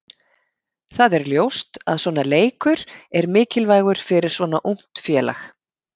Það er ljóst að svona leikur er mikilvægur fyrir svona ungt félag.